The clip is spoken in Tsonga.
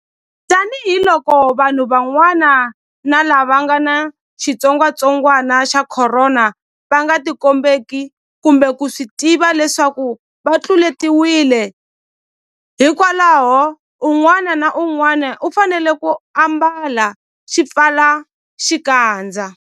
Tanihiloko vanhu van'wana lava nga ni xitsongwantsongwana xa Khorona va nga tikombeki kumbe ku swi tiva leswaku va tluletiwile, hikwalaho un'wana na un'wana u fanele ku ambala xipfalaxikandza.